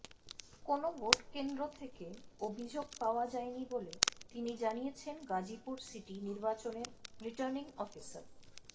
কোনো ভোট কেন্দ্র থেকে অভিযোগ পাওয়া যায়নি বলে তিনি জানিয়েছেন গাজীপুর সিটি নির্বাচনের রিটার্নিং অফিসার